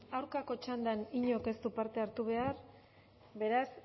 aurkako txandan inork ez du parte hartu behar beraz